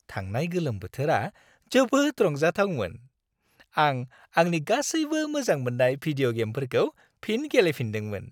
थांनाय गोलोम बोथोरा जोबोद रंजाथावमोन। आं आंनि गासैबो मोजां मोननाय भिदिय' गेमफोरखौ फिन गेलेफिनदोंमोन।